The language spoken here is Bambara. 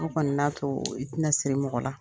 O kɔni n'a to i tɛ na siri mɔgɔ la.